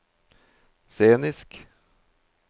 scenisk